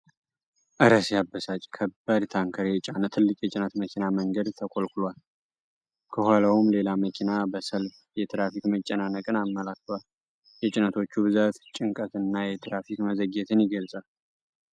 እረ ሲያበሳጭ! ከባድ ታንከር የጫነ ትልቅ የጭነት መኪና መንገድ ላይ ተኮልኩሏል። ከኋላውም ሌላ መኪና በመሰለፍ የትራፊክ መጨናነቅን አመላክቷል። የጭነቶቹ ብዛት ጭንቀትንና የትራፊክ መዘግየትን ይገልጻል።